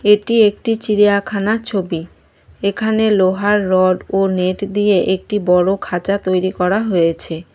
এটি একটি চিড়িয়াখানা ছবি এখানে লোহার রড ও নেট দিয়ে একটি বড় খাঁচা তৈরি করা হয়েছে।